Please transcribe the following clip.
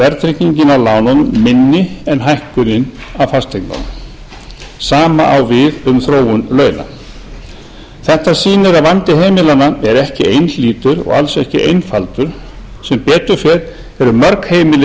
verðtryggingin af lánunum minni en hækkunin af fasteignunum sama á við um þróun launa þetta sýnir að vandi heimilanna er ekki einhlítur og alls ekki einfaldur sem betur fer eru mörg heimili